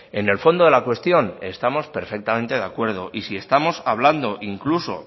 en el fondo de la cuestión estamos perfectamente de acuerdo y si estamos hablando incluso